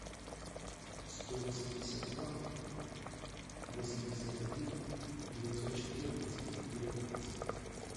сто восемьдесят два восемьдесят один девятьсот четырнадцать девятнадцать